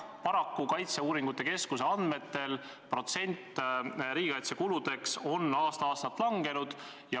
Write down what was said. Kaitseuuringute keskuse andmetel on riigikaitsekuludeks eraldatud protsent aasta-aastalt langenud.